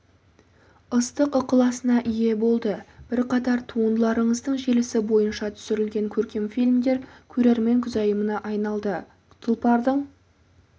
ыстық ықыласына ие болды бірқатар туындыларыңыздың желісі бойынша түсірілген көркем фильмдер көрермен көзайымына айналды тұлпардың